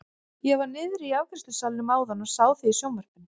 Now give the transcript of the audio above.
Ég var niðri í afgreiðslusalnum áðan og sá þig í sjónvarpinu!